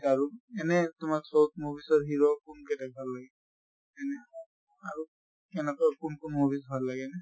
এনে তোমাক south movies ৰ hero কোন বিলাক ভাল লাগে। এনে আৰু কেনেকুৱা কোন কোন movies ভাল লাগে?